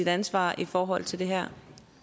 ansvar i forhold til det her